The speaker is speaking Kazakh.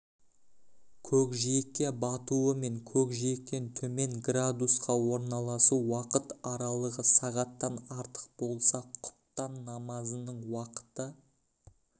көкжиекке батуы мен көкжиектен төмен -қа орналасу уақыт аралығы сағаттан артық болса құтпан намазының уақыты